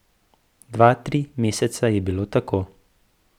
Dva, tri meseca je bilo tako.